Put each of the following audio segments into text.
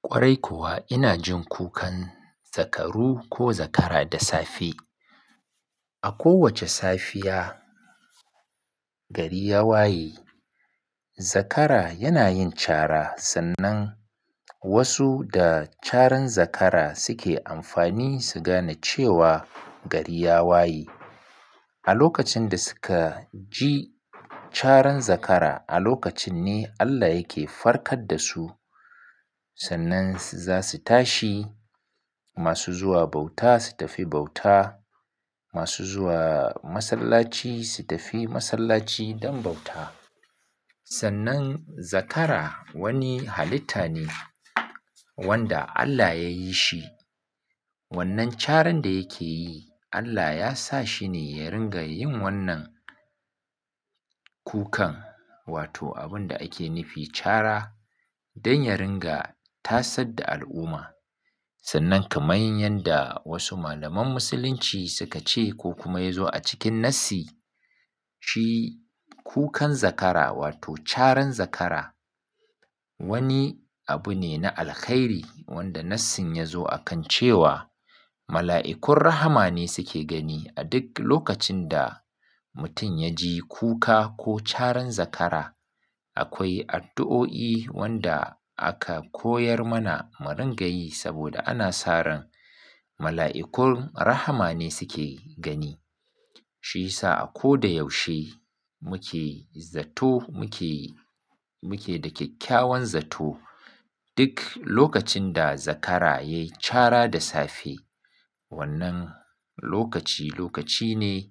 Kwarai kuwa ina jin kukan zakaru ko zakara da safe. A kowacce safiya gari ya waye zakara yana yin cara sannan wasu da caran zakara suke amfani su gane cewa gari ya waye. A lokacin da suka ji caran zakara a lokacin ne Allah yake farkar da su sannan za su tashi masu zuwa bauta su tafi bauta, masu zuwa masallaci su tafi masallaci don bauta. Sannan zakara wani halitta ne wanda Allah ya yi shi. Wannan caran da yake yi Allah ya sa shi ne ya ringa yin wannan kukan Wato abun da ake nufi cara don ya ringa tasar da al'umma. Sannan kaman yadda wasu malaman musulunci suka ce ko kuma ya zo a cikin nassi shi kukan zakara wato caran zakara. Wani abu ne na alkhairi wanda nassin ya zo akan cewa. Mala'ikun rahama ne suke gani a duk lokacin da mutum ya ji kuka ko caran zakara. Akwai addu'o'i wanda aka koyar mana mu ringa yi saboda ana sa ran mala'ikun rahama ne suke gani. Shi sa a ko da yaushe muke zato muke, muke da kyakkyawan zato duk lokacin da zakara yayi cara da safe. Wannan lokaci lokaci ne.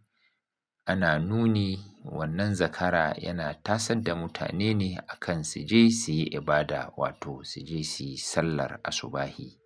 Ana nuni wannan zakara yana tasar da mutane ne akan su je su yi ibada wato su je su yi sallar asubahi.